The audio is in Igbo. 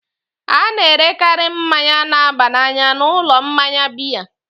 A na-erekarị mmanya na-aba n'anya n'ụlọ mmanya biya.